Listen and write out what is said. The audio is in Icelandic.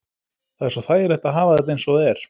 Það er svo þægilegt að hafa þetta eins og það er.